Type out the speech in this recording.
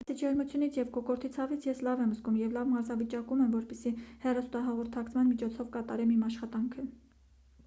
բացի ջերմությունից և կոկորդի ցավից ես լավ եմ զգում և լավ մարզավիճակում եմ որպեսզի հեռահաղորդակցման միջոցով կատարեմ իմ աշխատանքը